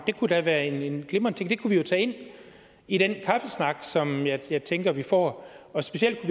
det kunne da være en glimrende ting det kunne vi jo tage ind i den kaffesnak som jeg tænker vi får specielt